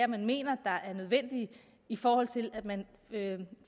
man mener er nødvendige i forhold til at man